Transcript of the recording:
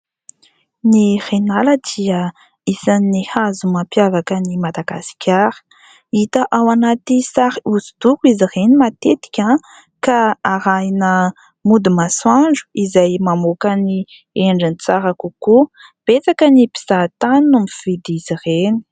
Ny reniala dia isan'ny hazo mampiavaka an'i Madagasikara. Hita ao anaty sary hoso-doko izy ireny matetika ka arahina mody masoandro izay mamoaka ny endriny tsara kokoa. Betsaka ny mpizaha tany no mividy izy ireny.